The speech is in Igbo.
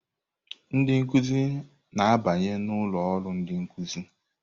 Ndị nkuzi na-abanye n'ụlọ ọrụ ndị nkụzi.